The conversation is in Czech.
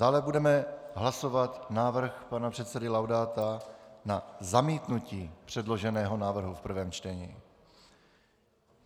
Dále budeme hlasovat návrh pana předsedy Laudáta na zamítnutí předloženého návrhu v prvém čtení.